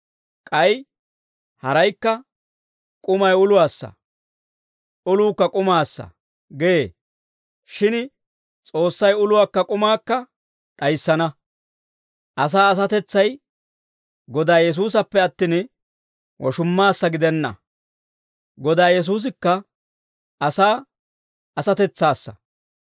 K'ay haraykka, «K'umay uluwaassa; uluukka k'umaassa» gee. Shin S'oossay uluwaakka k'umaakka d'ayissana. Asaa asatetsay Godaa Yesuusassappe attin, woshummaassa gidenna. Godaa Yesuusikka asaa asatetsaassa.